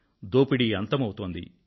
దోపిడీ అంతమవుతోంది